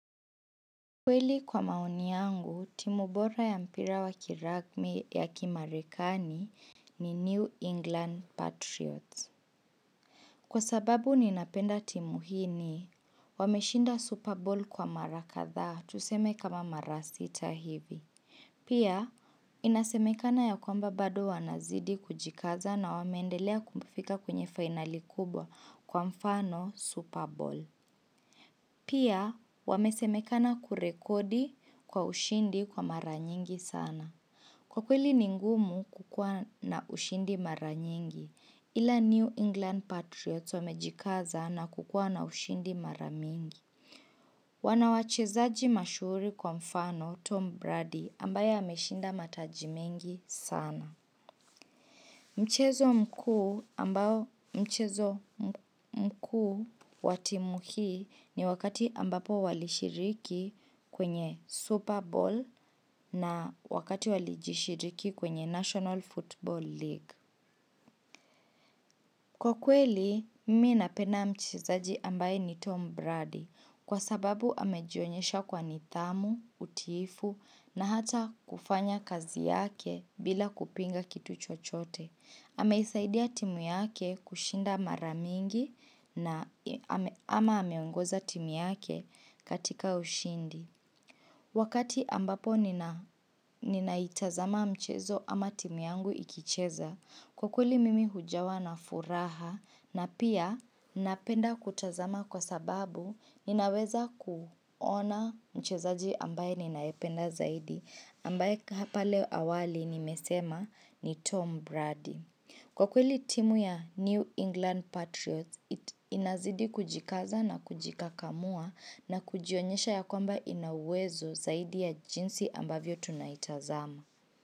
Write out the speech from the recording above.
Kweli kwa maoni yangu, timu bora ya mpira wa kiragmi ya kimarekani ni New England Patriots. Kwa sababu ninapenda timu hii ni, wameshinda Super Bowl kwa mara kadhaa tuseme kama mara sita hivi. Pia, inasemekana ya kwamba bado wanazidi kujikaza na wameendelea kufika kwenye fainali kubwa kwa mfano Super Bowl. Pia, wamesemekana kurekodi kwa ushindi kwa mara nyingi sana. Kwa kweli ni ngumu kukuwa na ushindi mara nyingi, ila New England Patriots wamejikaza na kukua na ushindi mara mingi. Wana wachezaji mashuhuri kwa mfano Tom Brady ambaye ameshinda mataji mengi sana. Mchezo mkuu wa timu hii ni wakati ambapo walishiriki kwenye Super Bowl na wakati walijishiriki kwenye National Football League. Kwa kweli, mimi napenaa mchezaji ambaye ni Tom Brady kwa sababu amejionyesha kwa nidhamu, utiifu na hata kufanya kazi yake bila kupinga kitu chochote. Ameisaidia timu yake kushinda mara mingi na, ama ameongoza timu yake katika ushindi. Wakati ambapo ninaitazama mchezo ama timu yangu ikicheza, kwa kweli mimi hujawa na furaha na pia napenda kutazama kwa sababu ninaweza kuona mchezaji ambaye ninayependa zaidi. Ambaye hapa leo awali nimesema ni Tom Brady. Kwa kweli timu ya New England Patriots, it inazidi kujikaza na kujikakamua na kujionyesha ya kwamba ina uwezo zaidi ya jinsi ambavyo tunaitazama.